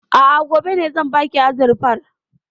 A'a, gobe ne zan baki azurfar.